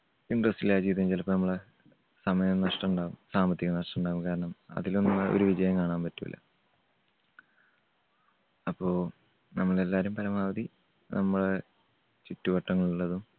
സമയനഷ്ടം ഉണ്ടാവും സാമ്പത്തിക നഷ്ടം ഉണ്ടാവും. കാരണം അധികനാൾ ഒരു വിജയം കാണാൻ പറ്റൂല്ല. അപ്പോ നമ്മൾ എല്ലാവരും പരമാവധി നമ്മടെ ചുറ്റുവട്ടങ്ങളിലുള്ളതും